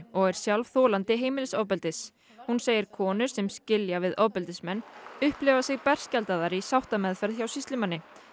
og er sjálf þolandi heimilisofbeldis hún segir konur sem sem skilja við ofbeldismenn upplifa sig berskjaldaðar í sáttarmeðferð hjá sýslumanni